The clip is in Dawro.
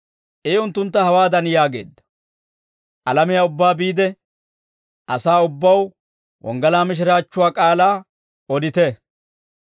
I unttuntta hawaadan yaageedda; «Alamiyaa ubbaa biide, asaa ubbaw wonggalaa mishiraachchuwaa k'aalaa odite.